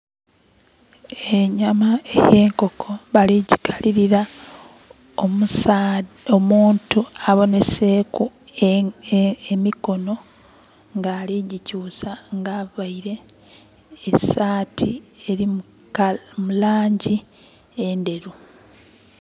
Enyama ey'enkoko bali gikalilira. Omuntu aboneseeku emikono nga ali gikyusa nga aveire esati eri mu langi endheru.